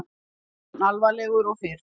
Jafn alvarlegur og fyrr.